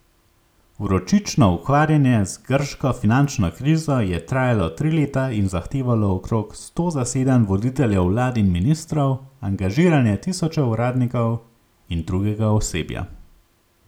Vročično ukvarjanje z grško finančno krizo je trajalo tri leta in zahtevalo okrog sto zasedanj voditeljev vlad in ministrov, angažiranje tisočev uradnikov in drugega osebja.